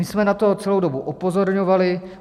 My jsme na to celou dobu upozorňovali.